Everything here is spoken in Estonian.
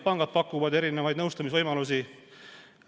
Pangad pakuvad mitmesuguseid nõustamisvõimalusi.